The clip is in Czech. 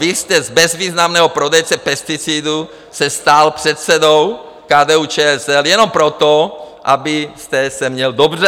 Vy jste z bezvýznamného prodejce pesticidů se stal předsedou KDU-ČSL jenom proto, abyste se měl dobře.